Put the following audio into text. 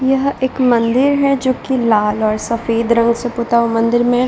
यह एक मंदिर है जो की लाल और सफ़ेद रंग से पुता हुआ है मंदिर में --